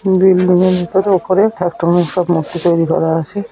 Building এর ভিতরে উপরে মূর্তি তৈরি করা আছে।